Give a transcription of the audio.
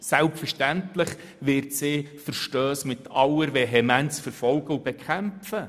Selbstverständlich wird sie Verstösse mit aller Vehemenz verfolgen und bekämpfen.